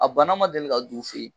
A bana ma deli ka don u fɛ yen.